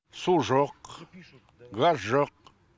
су жоқ газ жоқ